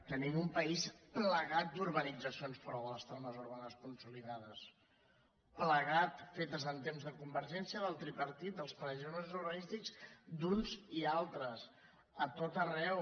tenim un país plagat d’urbanitza·cions fora de les trames urbanes consolidades pla·gat fetes en temps de convergència del tripartit dels planejaments urbanístics d’uns i altres a tot arreu